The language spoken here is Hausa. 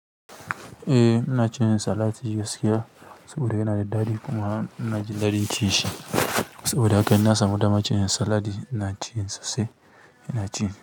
Eh, ina cin salati gaskiya saboda yana da daɗi kuma ina jin daɗin cin shi. Saboda haka ina samun dama cin salat, ina cin sa sai ina ci ne.